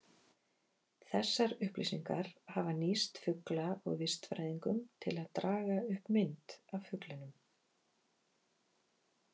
Þessar upplýsingar hafa nýst fugla- og vistfræðingum, til að draga upp mynd af fuglinum.